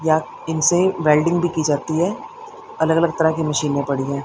इनसे वेल्डिंग भी की जाती है अलग अलग तरह की मशीने में पड़ी है।